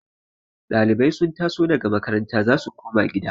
Dalibai sun taso daga makaranta za su koma gida